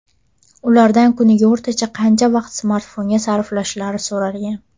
Ulardan kuniga o‘rtacha qancha vaqt smartfonga sarflashlari so‘ralgan.